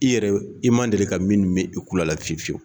I yɛrɛ i ma deli ka min mɛn i kulo la fiyewu fiyewu